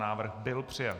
Návrh byl přijat.